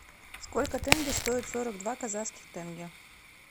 сколько тенге стоят сорок два казахских тенге